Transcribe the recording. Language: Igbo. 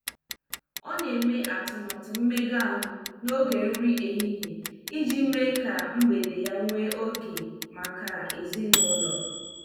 Ọ na-eme atụmatụ mmega ahụ n'oge nri ehihie iji mee ka mgbede ya nwee oge maka ezinụlọ.